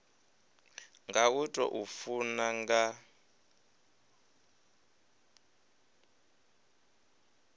nga u tou funa nga